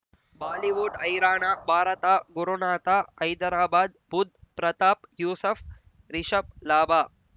Bollywood ಹೈರಾಣ ಭಾರತ ಗುರುನಾಥ ಹೈದರಾಬಾದ್ ಬುಧ್ ಪ್ರತಾಪ್ ಯೂಸುಫ್ ರಿಷಬ್ ಲಾಭ